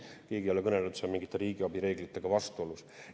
Keegi ei ole kõnelenud, et see on mingite riigiabi reeglitega vastuolus.